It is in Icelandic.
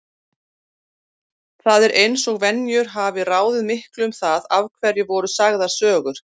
Það er eins og venjur hafi ráðið miklu um það af hverju voru sagðar sögur.